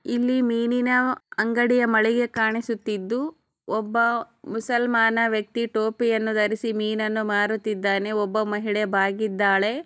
ಇಲ್ಲಿ ಮೀನಿನ ಅಂಗಡಿಯ ಮಾಳಿಗೆ ಕಾಣಿಸುತ್ತಿದು ಒಬ್ಬ ಮುಸಲ್ಮಾನ್ ವೆಕ್ತಿ ಟುಪಿಯನು ಧರಿಸಿ ಮೀನನ್ನು ಮಾರುತಿದ್ದಾನೆ ಒಬ್ಬ ಮಹಿಳೆ ಬಾಗಿದಾಳೆ.